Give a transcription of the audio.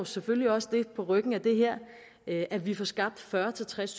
selvfølgelig også på ryggen af det her det at vi får skabt fyrre til tres